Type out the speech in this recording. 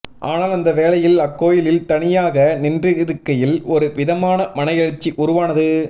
ஆனால் அந்த வேளையில் அக்கோயிலில் தனியாக நின்றிருக்கையில் ஒரு விதமான மன எழுச்சி உருவானது